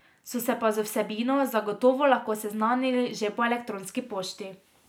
So se pa z vsebino zagotovo lahko seznanili že po elektronski pošti.